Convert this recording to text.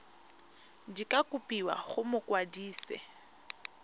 di ka kopiwa go mokwadise